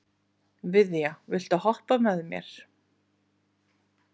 Viðja, viltu hoppa með mér?